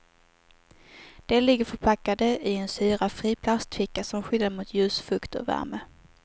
De ligger förpackade i en syrafri plastficka som skyddar mot ljus, fukt och värme.